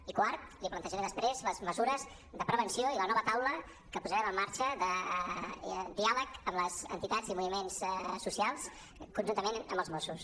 i quart li plantejaré després les mesures de prevenció i la nova taula que posarem en marxa de diàleg amb les entitats i els moviments socials conjuntament amb els mossos